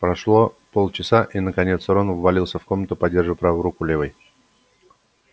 прошло полчаса и наконец рон ввалился в комнату поддерживая правую руку левой